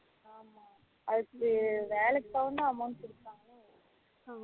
ஆமா அதுக்கு வேலைக்கு போகாமலே amount குடுப்பாங்களே